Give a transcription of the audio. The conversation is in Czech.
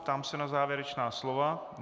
Ptám se na závěrečná slova.